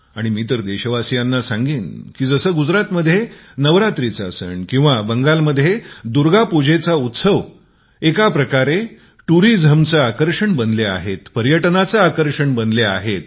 मी तर देशवासियांना सांगेन की जसे गुजरातमध्ये नवरात्रीचा सण किंवा बंगालमध्ये दुर्गा उत्सव हे एका प्रकारे पर्यटनाचे आकर्षण बनले आहे